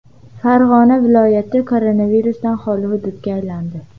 Farg‘ona viloyati koronavirusdan xoli hududga aylandi.